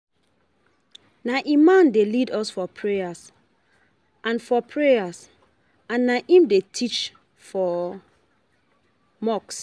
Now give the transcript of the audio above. Na Imam dey lead us for prayer and for prayer and na im dey teach for mosque.